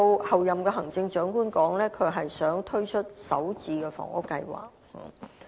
候任行政長官提到，她希望推出首置房屋計劃。